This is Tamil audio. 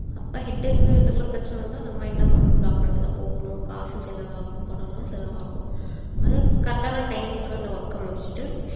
அப்ப head க்கு இதுக்கெல்லாம் பிரச்சனை வந்தா நம்ம என்ன பண்ணனும் doctor கிட்ட தான் போகணும் காசு செலவாகும் பணமெல்லாம் செலவாகும் அத correct ஆன time க்கு அந்த work அ முடிச்சிட்டு